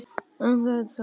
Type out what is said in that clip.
Það er tvennt.